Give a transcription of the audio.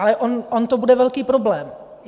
Ale on to bude velký problém.